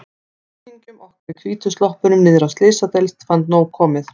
Kunningjum okkar í hvítu sloppunum niðri á Slysadeild fannst komið nóg.